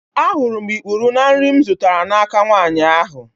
Ahụrụ m ikpuru n'nri m zụtara n'aka nwanyị ahụ